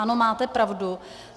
Ano, máte pravdu.